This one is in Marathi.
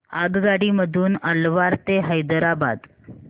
आगगाडी मधून अलवार ते हैदराबाद